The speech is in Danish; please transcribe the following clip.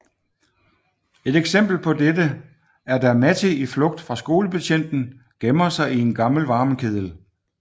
Et eksempel på dette er da Matti i flugt fra skolebetjenten gemmer sig i en gammel varmekedel